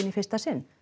í fyrsta sinn